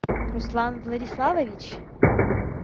руслан владиславович